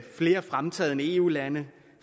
flere fremtrædende eu lande